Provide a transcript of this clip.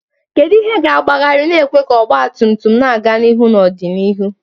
Kedu ihe ga-agbagharị, na-ekwe ka ọgba tum tum na-aga n'ihu n'ọdịnihu?